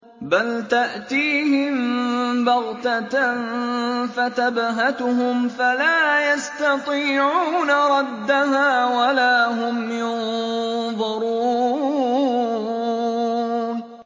بَلْ تَأْتِيهِم بَغْتَةً فَتَبْهَتُهُمْ فَلَا يَسْتَطِيعُونَ رَدَّهَا وَلَا هُمْ يُنظَرُونَ